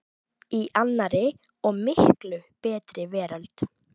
í annarri og miklu betri veröld.